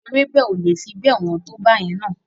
Ewébẹ̀ o le fi bẹ́ẹ̀ wọ́n tó báyẹn na.